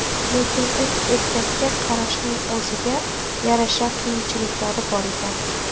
Lekin uch egizakka qarashning o‘ziga yarasha qiyinchiliklari bor ekan.